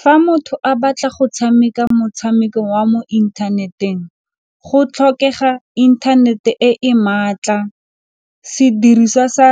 Fa motho a batla go tshameka motshameko wa mo inthaneteng go tlhokega inthanete e e maatla, sediriswa sa